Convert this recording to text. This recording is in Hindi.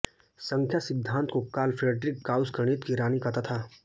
संख्यासिद्धांत को कार्ल फ्रेडरिक गाउस गणित की रानी कहता था